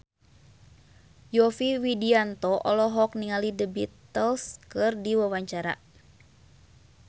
Yovie Widianto olohok ningali The Beatles keur diwawancara